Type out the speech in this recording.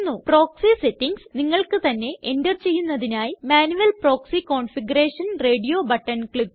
proxy settings നിങ്ങൾക്ക് തന്നെ enter ചെയ്യുന്നതിനായി manual proxy configuration radio button click ചെയ്യുക